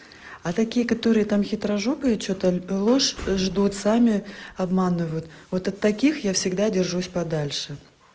а такие которые там хитрожопые что-то ложь ждут сами обманывают вот от таких я всегда держусь подальше